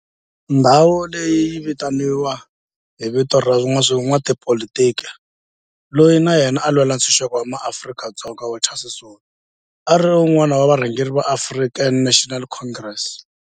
Ndhawo leyi yi vitaniwa hi vito ra n'watipolitiki loyi na yena a lwela ntshuxeko wa maAfrika-Dzonga Walter Sisulu, a ri wun'wana wa varhangeri va African National Congress, ANC.